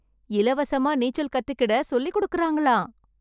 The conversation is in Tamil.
இலவசமா நீச்சல் கத்துக்கிட சொல்லி குடுக்கறாங்களாம்.